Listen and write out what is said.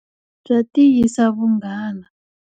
Bya tiyisa vunghana.